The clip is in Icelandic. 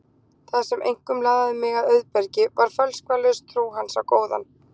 Það sem einkum laðaði mig að Auðbergi var fölskvalaus trú hans á góðan